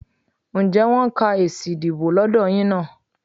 Ǹjẹ́ wọ́n ń ka èsì ìdìbò lọ́dọ̀ yín náà?